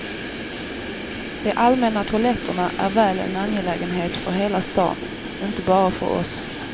De allmänna toaletterna är väl en angelägenhet för hela stan, inte bara för oss.